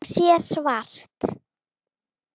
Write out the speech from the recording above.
Hún sér svart.